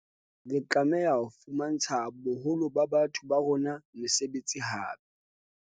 Re tlameha ho fumantsha boholo ba batho ba rona mesebetsi hape.